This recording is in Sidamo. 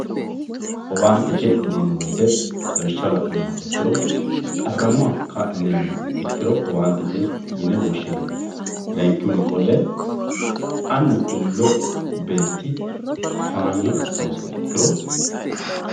Owaantete yineemmo woyte lawishsha la'nuummoha ikkiro qarramoha kaa'lineemmoha ikkiro owaantete yine woshshinanni layinkihunni qolle annu ilo beetti towaanyo assanosiha ikkiro.